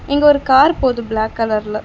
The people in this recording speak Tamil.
இங்க ஒரு கார் போது பிளேக் கலர்ல .